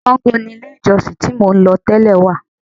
Sango ni ilé-ìjọsìn tí mò ń lọ tẹ́lẹ̀ wà.